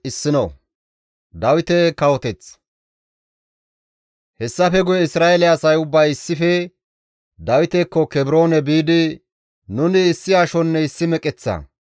Hessafe guye Isra7eele asay ubbay issife Dawitekko Kebroone biidi, «Nuni issi ashonne issi meqeththa;